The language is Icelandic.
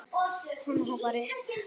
Hann hoppaði upp.